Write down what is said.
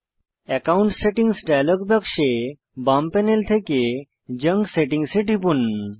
account settings dialog বাক্সে বাম panel থেকে জাঙ্ক সেটিংস এ টিপুন